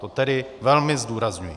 To tedy velmi zdůrazňuji.